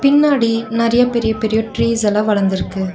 பின்னாடி நெறையா பெரிய பெரிய ட்ரீஸ் எல்லா வளந்துருக்கு.